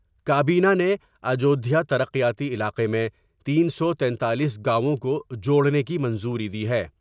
کابینہ نے اجودھیا تر قیاتی علاقے میں تین سو تینتالیس گاؤوں کو جوڑنے کی منظوری دی ہے۔